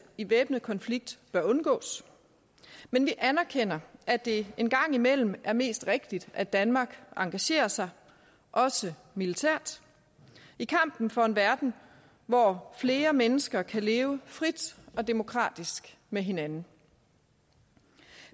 i væbnet konflikt bør undgås men vi anerkender at det en gang imellem er mest rigtigt at danmark engagerer sig også militært i kampen for en verden hvor flere mennesker kan leve frit og demokratisk med hinanden